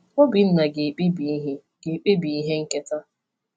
Obinna ga-ekpebi ihe ga-ekpebi ihe nketa.